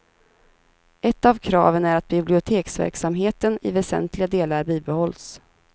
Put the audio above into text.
Ett av kraven är att biblioteksverksamheten i väsentliga delar bibehålls.